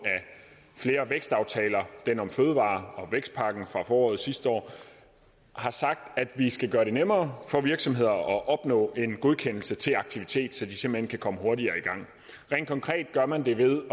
af flere vækstaftaler den om fødevarer og vækstpakken fra foråret sidste år har sagt at vi skal gøre det nemmere for virksomheder at opnå en godkendelse til aktivitet så de simpelt hen kan komme hurtigere i gang rent konkret gør man det ved